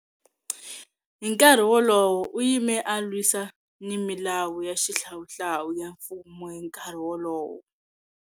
Hi nkarhi wolowo, u yime a lwisana ni milawu ya xihlawuhlawu ya mfumo hi nkarhi wolowo.